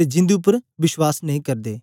ते जिंदु उपर विश्वास नेई करदे